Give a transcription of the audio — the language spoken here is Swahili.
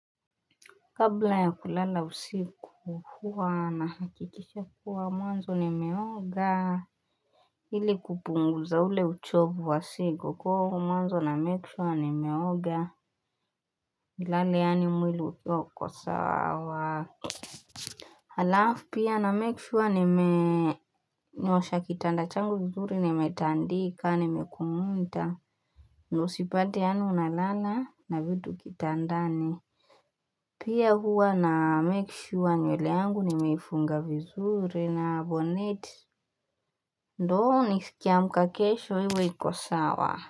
Kabla ya kulala usiku huwa nahakikisha kuwa mwanzo nimeoga ili kupunguza ule uchovu wa siku kwa mwanzo na make sure nimeoga nilale yaani mwili ukiwa uko sawa alafu pia na make sure nime nyosha kitanda changu vizuri ni metandika ni mekumuta ndo sipate yaani unalala na vitu kitandani Pia huwa na make sure nywele yangu ni meifunga vizuri na bonete ndo nisikie nikiamka kesho iwe ikosawa.